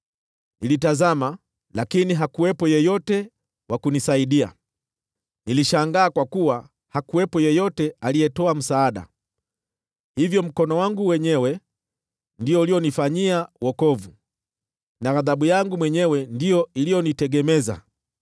Nilitazama, lakini hakuwepo yeyote wa kunisaidia, nilishangaa kwa kuwa hakuwepo yeyote aliyetoa msaada; hivyo mkono wangu wenyewe ndio ulionifanyia wokovu, na ghadhabu yangu mwenyewe ndiyo iliyonitegemeza.